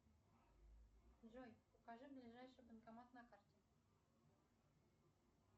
джой покажи ближайший банкомат на карте